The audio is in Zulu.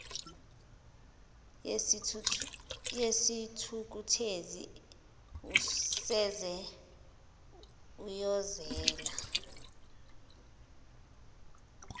yesithukuthezi useze uyozela